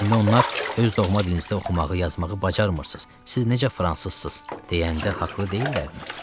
İndi onlar öz doğma dilinizdə oxumağı, yazmağı bacarmırsınız, siz necə fransızsız deyəndə haqlı deyillərmi?